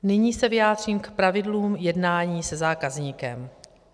Nyní se vyjádřím k pravidlům jednání se zákazníkem.